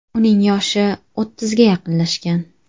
Uning yoshi o‘ttizga yaqinlashgan.